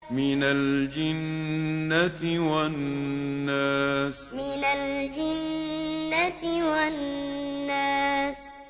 مِنَ الْجِنَّةِ وَالنَّاسِ مِنَ الْجِنَّةِ وَالنَّاسِ